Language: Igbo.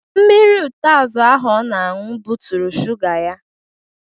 Mmiri utazi ahụ ọ na-anwụ bụtụrụ suga ya